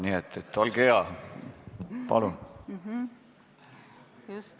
Nii et olge hea, palun!